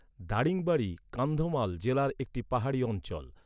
দারিংবাড়ী, কান্ধমাল জেলার একটি পাহাড়ি অঞ্চল।